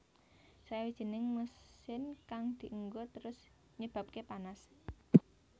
Sawijining mesin kang dienggo terus nyebabake panas